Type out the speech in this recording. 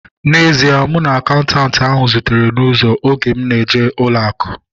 N'ezie, mụ na akaụntanti ahu zutere n'ụzọ oge m na-eje ụlọ akụ